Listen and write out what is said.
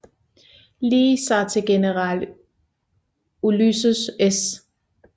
Lee sig til general Ulysses S